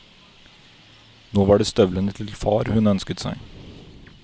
Nå var det støvlene til far hun ønsket seg.